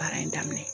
Baara in daminɛ